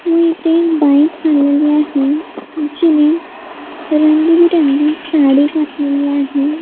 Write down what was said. व इथे एक बाई चाललेली आहे जिने रंगीबेरंगी साडी घातलेली आहे.